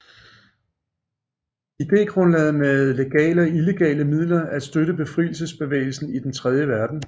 Idégrundlaget var med legale og illegale midler at støtte befrielsesbevægelser i den tredje verden